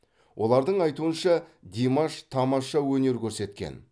олардың айтуынша димаш тамаша өнер көрсеткен